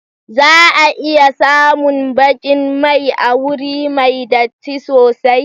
Za a iya samun baƙin mai a wuri mai datti sosai.